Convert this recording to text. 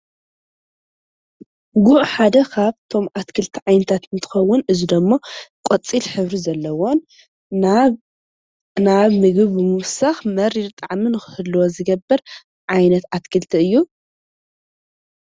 ጉዕ ሓደ ካብቶም ዓይነታት አትክልቲ እንትኸዉን እዚ ደሞ ቆፂል ሕብሪ ዘለዎን ናብ ምግቢ ብምዉሳኽ መሪር ጣዕሚ ንክህልዎ ዝገብር ዓይነት ኣትክልቲ እዪ ።